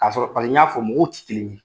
K'a sɔrɔ paseke n y'a fɔ mɔgɔw tɛ kelen ye.